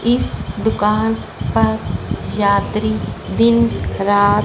इस दुकान पर यात्री दिन रात--